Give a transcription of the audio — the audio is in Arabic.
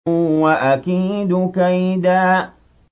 وَأَكِيدُ كَيْدًا